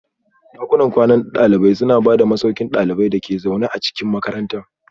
Dakunan kwanan dalibai suna ba da masauki ga ɗaliban da ke zaune a cikin makarantar